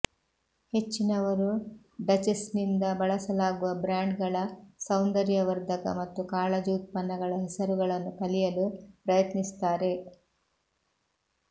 ಹೆಚ್ಚಿನವರು ಡಚೆಸ್ನಿಂದ ಬಳಸಲಾಗುವ ಬ್ರಾಂಡ್ಗಳ ಸೌಂದರ್ಯವರ್ಧಕ ಮತ್ತು ಕಾಳಜಿ ಉತ್ಪನ್ನಗಳ ಹೆಸರುಗಳನ್ನು ಕಲಿಯಲು ಪ್ರಯತ್ನಿಸುತ್ತಾರೆ